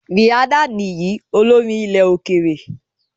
Rihanna nìyín, olórin ilẹ̀-òkèèrè.